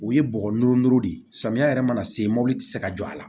O ye bɔgɔ no ndugu de ye samiya yɛrɛ mana se mɔbili ti se ka jɔ a la